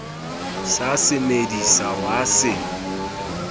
sa se medisa wa se